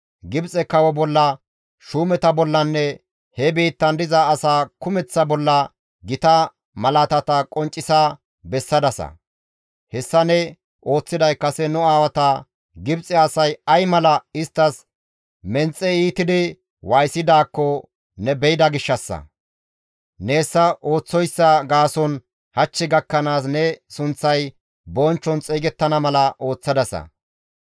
Gibxe kawo bolla, shuumeta bollanne he biittan diza asaa kumeththa bolla gita malaatata qonccisa bessadasa. Hessa ne ooththiday kase nu aawata Gibxe asay ay mala isttas menxe iitidi waayisidaakko ne be7ida gishshassa; ne hessa ooththoyssa gaason hach gakkanaas ne sunththay bonchchon xeygettana mala ooththadasa.